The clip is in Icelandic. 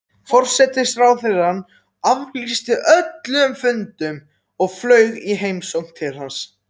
Forsætisráðherrann aflýsti öllum fundum og flaug í heimsókn til hans.